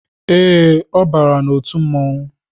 Ee, ọ bara n'otu mmọnwu